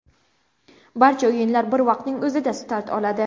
Barcha o‘yinlar bir vaqtning o‘zida start oladi.